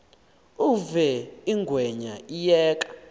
uve ingwenya iyeka